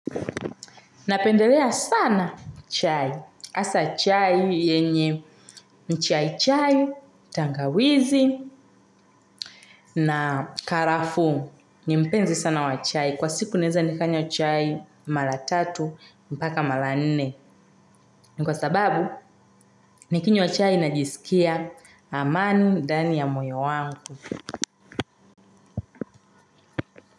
Napendelea sana chai. Hasa chai yenye mchai chai, tangawizi na karafu. Ni mpenzi sana wa chai. Kwa siku naweza nikanywa chai mara tatu, hadi mara nne. Kwa sababu, nikinywa chai najisikia. Amani ndani ya moyo wangu.